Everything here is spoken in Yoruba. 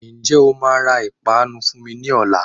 Ñjẹ́ o máa ra ìpanu fún mi ní ọ̀la?